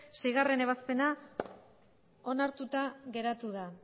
seigarrena ebazpena onartuta geratu da